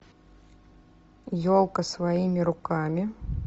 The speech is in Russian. елка своими руками